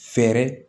Fɛɛrɛ